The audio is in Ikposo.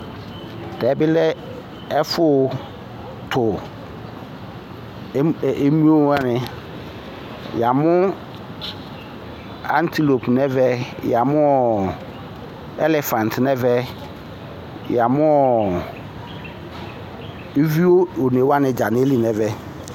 Tɛ bɩ lɛ ɛfʋtʋ emlo wani Ya mʋ aŋtilopʋ nʋ ɛvɛ, ya mʋ ɛlɛfaŋtɩ nʋ ɛvɛ, ya mʋ iviu one wani dza nʋ ayili nʋ ɛvɛ